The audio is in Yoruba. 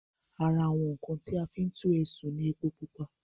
ara àwọn ǹkan tí a fí ń tu èṣù ní epo pupa